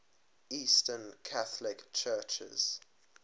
eastern catholic churches